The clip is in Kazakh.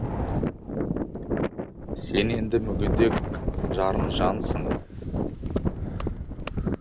сен енді мүгедек жарым жансын